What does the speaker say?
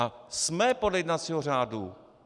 A jsme podle jednacího řádu!